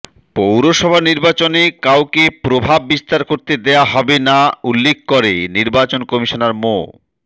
পৌরসভা নির্বাচনে কাউকে প্রভাব বিস্তার করতে দেয়া হবে না উল্লেখ করে নির্বাচন কমিশনার মো